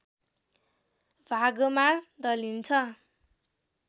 भागमा दलिन्छ